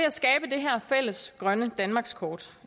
her fælles grønne danmarkskort